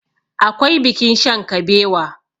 akwai bikin shankabewa